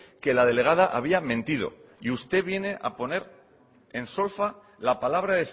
que la delegada había mentido y usted viene a poner en solfa la palabra